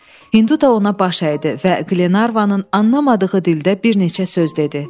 Hindu da ona baş əydi və Qlenarvanın anlamadığı dildə bir neçə söz dedi.